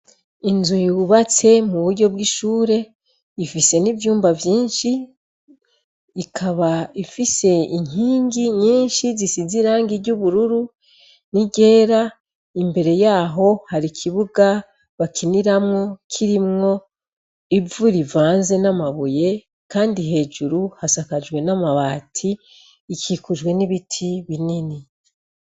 Inzu yubatse mu buryo bw'ishure ifise n'ivyumba vyinshi ikaba ifise inkingi nyinshi zisiz irangi ry'ubururu niryera imbere yaho hari ikibuga bakiniramwo kirimwo ivu rivanze n'amabuye, kandi hejuru hasakajwe n'amabati ikikujwe n'ibiti binini.